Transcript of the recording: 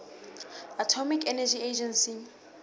atomic energy agency